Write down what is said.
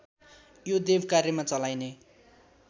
यो देवकार्यमा चलाइने